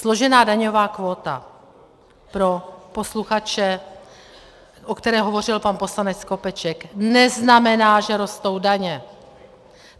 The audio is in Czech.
Složená daňová kvóta, pro posluchače, o které hovořil pan poslanec Skopeček, neznamená, že rostou daně.